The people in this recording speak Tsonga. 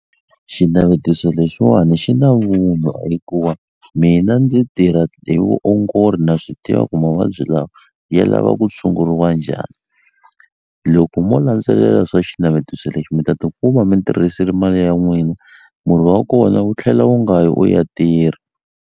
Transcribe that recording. Xinavetiso lexiwani xi na vunwa hikuva mina ndzi tirha hi vuongori na swi tiva ku mavabyi lawa ya lava ku tshunguriwa njhani loko mo landzelela swa xinavetiso lexi mi ta ti kuma mi tirhisile mali ya n'wina murhi wa kona wu tlhela wu nga yi u ya tirha.